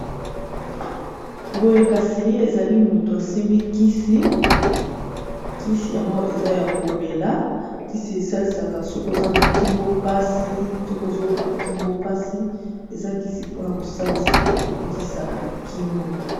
Boye kasi ezali moto asimbi kisi, kisi yango eza ya komela kisi esalisaka sokoza na kingo pasi soko ozoyoka kingo mpasi eza kisi mpona kosalisa kobikisa na kingo.